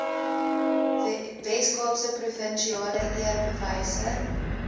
weskaapse provinsiale eerbewyse